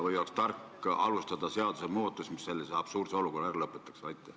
Vahest oleks tark alustada seaduse muutmist, et selline absurdne olukord ära lõpetada.